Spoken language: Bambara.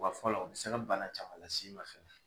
Wa fɔlɔ u bɛ se ka bana caman las'i ma fɛnɛ